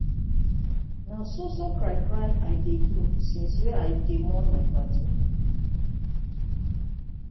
na so so cry cry i dey do since wey i dey mourn my paddy.